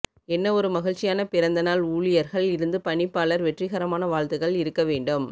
என்ன ஒரு மகிழ்ச்சியான பிறந்தநாள் ஊழியர்கள் இருந்து பணிப்பாளர் வெற்றிகரமான வாழ்த்துக்கள் இருக்க வேண்டும்